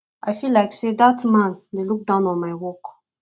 i feel like say dat man dey look down on my work